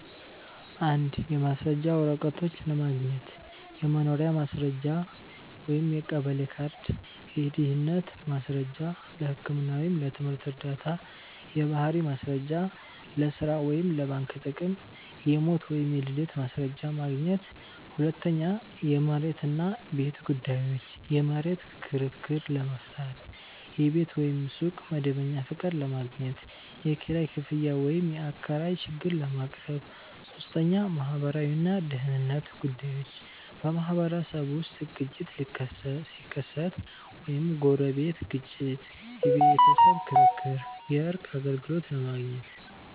1. የማስረጃ ወረቀቶች ለማግኘት · የመኖሪያ ማስረጃ (የቀበሌ ካርድ) · የድህነት ማስረጃ (ለህክምና ወይም ለትምህርት ዕርዳታ) · የባህሪ ማስረጃ (ለሥራ ወይም ለባንክ ጥቅም) · የሞት ወይም የልደት ማስረጃ ማግኘት 2. የመሬት እና ቤት ጉዳዮች · የመሬት ክርክር ለመፍታት · የቤት ወይም ሱቅ መደበኛ ፈቃድ ለማግኘት · የኪራይ ክፍያ ወይም የአከራይ ችግር ለማቅረብ 3. ማህበራዊ እና ደህንነት ጉዳዮች · በማህበረሰብ ውስጥ ግጭት ሲከሰት (ጎረቤት ግጭት፣ የቤተሰብ ክርክር) የእርቅ አገልግሎት ለማግኘት